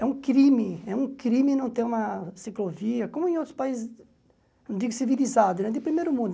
É um crime é um crime não ter uma ciclovia, como em outros países, não digo civilizados, de primeiro mundo.